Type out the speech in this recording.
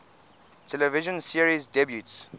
television series debuts